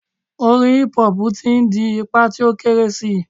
Orin hip hop ti n di ipa ti o kere si